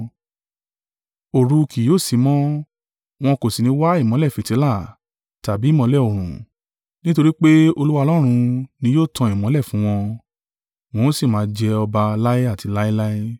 Òru kì yóò sí mọ́; wọn kò sì ní wa ìmọ́lẹ̀ fìtílà, tàbí ìmọ́lẹ̀ oòrùn; nítorí pé Olúwa Ọlọ́run ni yóò tan ìmọ́lẹ̀ fún wọn: wọn ó sì máa jẹ ọba láé àti láéláé.